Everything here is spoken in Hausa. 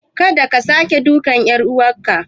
Kada ka sake dukan ƴar uwarka.